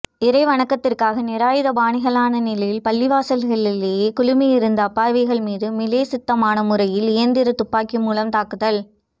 இறை வணக்கத்திற்காக நிராயுதபாணிகளான நிலையில் பள்ளிவாசல்களிலே குழுமி இருந்த அப்பாவிகள் மீது மிலேச்சத்தனமான முறையில் இயந்திர துப்பாக்கி மூலம் தாக்குதல்